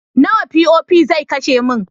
Nawa POP zai kashe min?